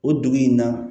O dugu in na